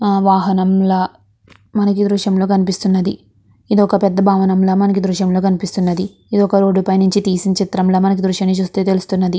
ఆ వాహనంలా మనకీ దృశ్యంలో కనిపిస్తున్నది ఇదొక పెద్ద భవనంల మనకీ దృశ్యంలో కనిపిస్తున్నది ఇదొక రోడ్డు పైనుంచి తీసిన చిత్రంలా మనకి దృశ్యాన్ని చుస్తే తెలుస్తున్నది.